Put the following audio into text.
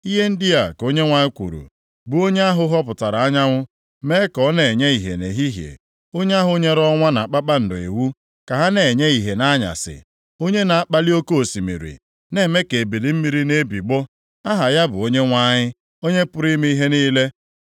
Ihe ndị a ka Onyenwe anyị kwuru, bụ onye ahụ họpụtara anyanwụ mee ka ọ na-enye ihe nʼehihie, onye ahụ nyere ọnwa na kpakpando iwu ka ha na-enye ihe nʼanyasị, onye na-akpali oke osimiri, na-eme ka ebiliri mmiri na-ebigbọ. Aha ya bụ Onyenwe anyị, Onye pụrụ ime ihe niile.